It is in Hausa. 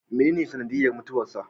Menene sanadiyyar mutuwarsa?